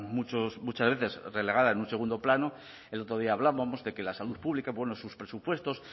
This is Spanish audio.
muchas veces relegada en un segundo plano el otro día hablábamos de que la salud pública bueno sus presupuestos